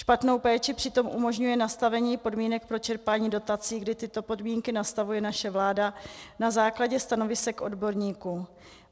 Špatnou péči přitom umožňuje nastavení podmínek pro čerpání dotací, kdy tyto podmínky nastavuje naše vláda na základě stanovisek odborníků.